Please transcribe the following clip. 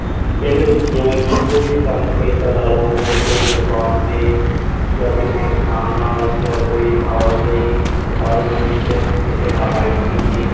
ਪਿੰਡ ਵਿੱਚ ਜਿਵੇਂ ਕੋਈ ਵੀ ਕੰਮ ਖੇਤ ਦਾ ਲਾਲੋ। ਹੋਰ ਕੋਈ ਕੰਮ ਦੁਕਾਨ ਤੇ ਜਾਂ ਕਿਸੇ ਕਿਸਾਨ ਨਾਲ ਜਾਂ ਕੋਈ ਆਵਾਜਾਈ ਦੇ ਸਾਧਨਾਂ ਵਿੱਚ ਕਿਸੇ ਨਾਲ ਹੈਲਪ ਕੀਤੀ।